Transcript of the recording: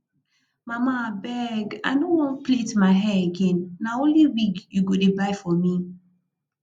mama abeg i no wan plait my hair again na only wig you go dey buy for me